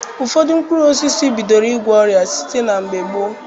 Ụfọdụ mkpụrụ osisi bidoro ịgwọ ọrịa site na mgbe gboo.